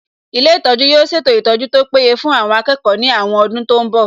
Ilé ìtọ́jú yóò ṣètò ìtọ́jú tó péye fún àwọn akẹ́kọ̀ọ́ ní àwọn ọdún tó ń bọ̀